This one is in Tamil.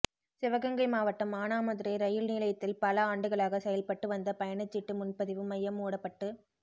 சிவகங்கை மாவட்டம் மானாமதுரை ரயில் நிலையத்தில் பல ஆண்டுகளாக செயல்பட்டு வந்த பயணச்சீட்டு முன்பதிவு மையம் மூடப்பட்டு